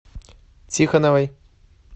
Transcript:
тихоновой